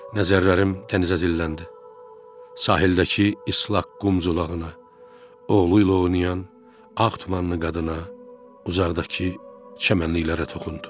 Nəzərlərim dənizə zilləndi, sahildəki islah qumculalığına, oğlu ilə oynayan ağ tumanlı qadına, uzaqdakı çəmənliklərə toxundu.